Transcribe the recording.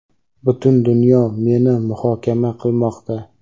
Butun dunyo meni muhokama qilmoqda.